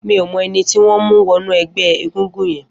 Mi ó mọ ẹni tiwọn n mú wọ̀nú ẹgbẹ égúngún yèn